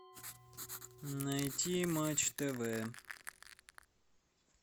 найти матч тв